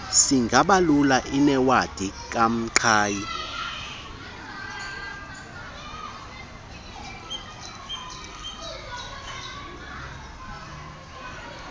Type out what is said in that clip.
singabalula inewadi kamqhayi